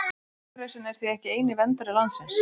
Bergrisinn er því ekki eini verndari landsins.